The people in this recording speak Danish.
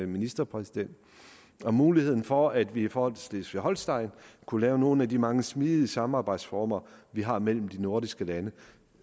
ministerpræsident om muligheden for at vi i forhold til schleswig holstein kunne have nogle af de mange smidige samarbejdsformer vi har mellem de nordiske lande